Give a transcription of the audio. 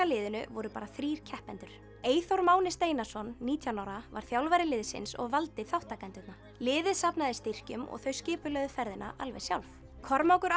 liðinu voru bara þrír keppendur Eyþór Máni Steinarsson nítján ára var þjálfari liðsins og valdi þátttakendurna liðið safnaði styrkjum og þau skipulögðu ferðina alveg sjálf Kormákur